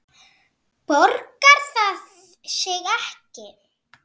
Borgar það sig ekki?